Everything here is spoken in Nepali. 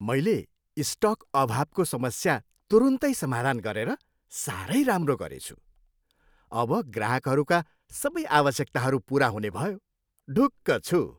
मैले स्टक अभावको समस्या तुरुन्तै समाधान गरेर साह्रै राम्रो गरेछु। अब ग्राहकहरूका सबै आवश्यकताहरू पुरा हुने भयो। ढुक्क छु।